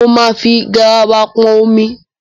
Mo máa fi garawa pọn omi.